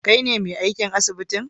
kaine me aikin asibitin?